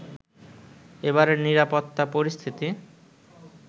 এবারের নিরাপত্তা পরিস্থিতি